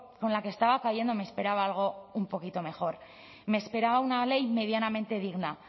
con la que estaba cayendo me esperaba algo un poquito mejor me esperaba una ley medianamente digna